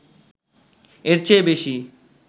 এর চেয়ে বেশি